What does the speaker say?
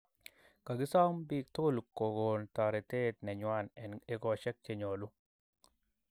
Kagisom piik tugul kogom toretet nenywan en egoshek chenyolu